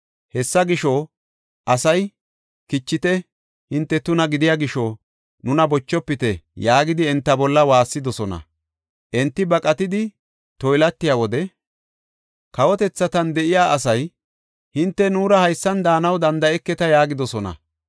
Hessa gisho, asay, “Kichite! hinte tuna gidiya gisho, nuna bochofite!” yaagidi enta bolla waassidosona. Enti baqatidi toylatiya wode, kawotethatan de7iya asay, “Hinte nuura haysan daanaw danda7eketa” yaagidosona.